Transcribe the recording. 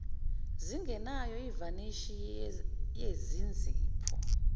zingenayo ivanishi yezinzipho